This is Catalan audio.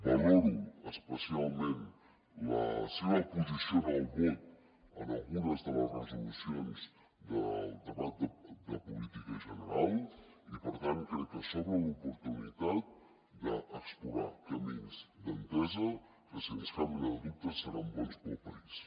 valoro especialment la seva posició en el vot en algunes de les resolucions del debat de política general i per tant crec que s’obre l’oportunitat d’explorar camins d’entesa que sens cap mena de dubte seran bons per al país